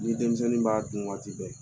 Ni denmisɛnnin b'a dun waati bɛɛ